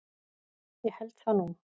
Ég held það nú.